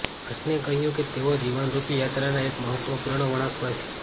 હસને કહ્યું કે તેઓ જીવનરુપી યાત્રાના એક મહત્વપૂર્ણ વળાંક પર છે